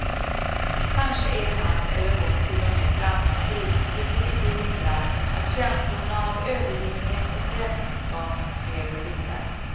Kanske är han eller hon till och med framgångsrik, vilket inte hindrar att känslorna av övergivenhet och främlingskap lever vidare.